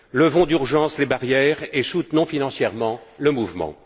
Levons d'urgence les barrières et soutenons financièrement le mouvement.